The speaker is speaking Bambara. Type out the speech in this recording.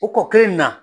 O kɔ kelen na